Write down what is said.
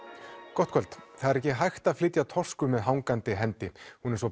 gott kvöld það er ekki hægt að flytja Toscu með hangandi hendi hún er svo